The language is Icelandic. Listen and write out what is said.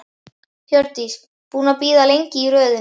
Hjördís: Búinn að bíða lengi í röðinni?